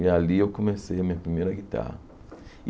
E ali eu comecei a minha primeira guitarra.